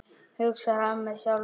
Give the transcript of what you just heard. hugsar hann með sjálfum sér.